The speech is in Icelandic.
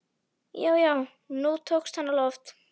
Já, já, nú tókst hann á loft!